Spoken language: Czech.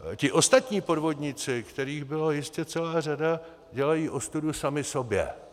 Ti ostatní podvodníci, kterých byla jistě celá řada, dělají ostudu sami sobě.